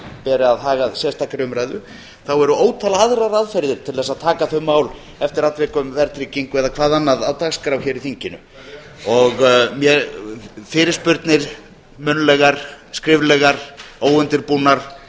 beri að haga sérstakri umræðu þá eru ótal aðrar aðferðir til að taka þau mál eftir atvikum verðtryggingu eða hvað annað á dagskrá hér í þinginu fyrirspurnir munnlegar skriflegar óundirbúnar